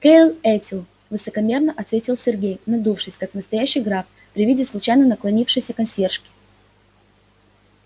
келер этиль высокомерно ответил сергей надувшись как настоящий граф при виде случайно наклонившейся консьержки